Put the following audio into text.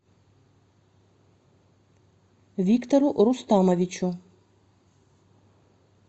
виктору рустамовичу